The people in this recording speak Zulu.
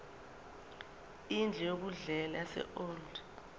indlu yokudlela yaseold